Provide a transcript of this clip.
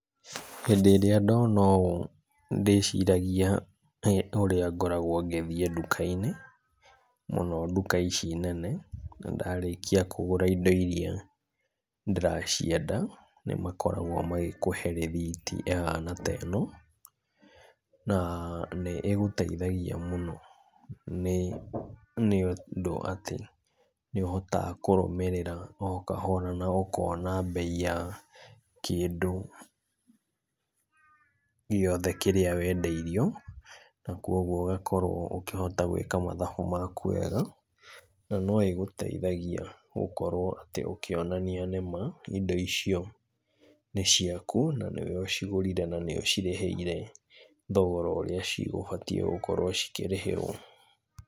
Hĩndĩ ĩrĩa ndona ũũ, ndĩciragia ũrĩa ngoragwo ngĩthiĩ nduka-inĩ, mũno nduka ici nene, na ndarĩkia kũgũra indo iria ndĩracienda, nĩ makoragwo magĩkũhe rĩthiti ĩhana ta ĩno, na nĩ ĩgũteithagia mũno nĩ, nĩ ũndũ wa atĩ, nĩ ũhotaga kũrũmĩrĩra o kahora na ũkona mbei ya kĩndũ gĩothe kĩrĩa wendeirio, na kogwo ũgakorwo ũgĩkorwo ũkĩhota gwĩka mathabu maku wega, na no ĩgũteithagia gũkorwo atĩ ũkĩonania nĩma, indo icio nĩciaku, na nĩwe ũcigũrire na nĩ ũcirĩhĩire, thogora ũrĩa cigũbatiĩ gũkorwo cikĩrĩhĩrwo.